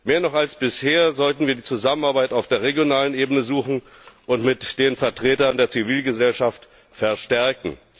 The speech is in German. Mehr noch als bisher sollten wir die Zusammenarbeit auf der regionalen Ebene suchen und mit den Vertretern der Zivilgesellschaft verstärken.